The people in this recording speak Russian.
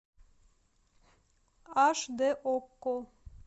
аш дэ окко